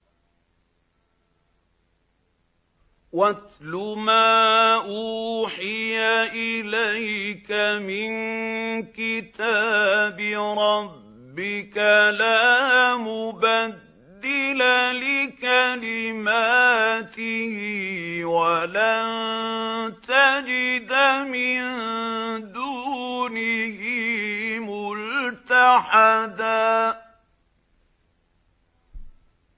وَاتْلُ مَا أُوحِيَ إِلَيْكَ مِن كِتَابِ رَبِّكَ ۖ لَا مُبَدِّلَ لِكَلِمَاتِهِ وَلَن تَجِدَ مِن دُونِهِ مُلْتَحَدًا